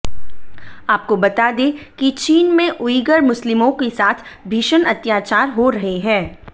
आपको बता दें कि चीन में उइगर मुस्लिमों के साथ भीषण अत्याचार हो रहे हैं